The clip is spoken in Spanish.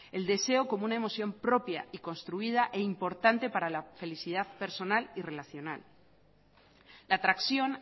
el deseo como una emoción propia y construida e importante para la felicidad personal y relacional la tracción